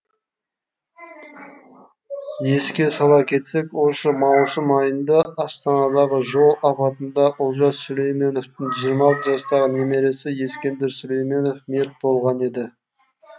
еске сала кетсек осы маусым айында астанадағы жол апатында олжас сүлейменовтің жиырма алты жастағы немересі ескендір сүлейменов мерт болған еді